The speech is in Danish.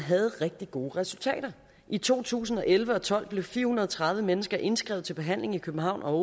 rigtig gode resultater i to tusind og elleve og tolv blev fire hundrede og tredive mennesker indskrevet til behandling i københavn og